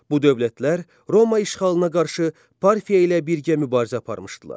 Bu dövlətlər Roma işğalına qarşı Parfiya ilə birgə mübarizə aparmışdılar.